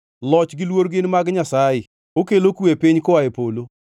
“Loch gi luor gin mag Nyasaye; okelo kwe e piny koa e polo.